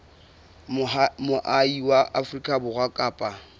moahi wa afrika borwa kapa